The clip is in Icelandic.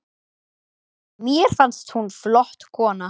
Mér fannst hún flott kona.